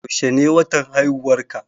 Yaushe ne watan haihuwarka?